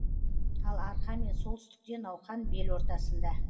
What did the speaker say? ал арқа мен солтүстікте науқан бел ортасында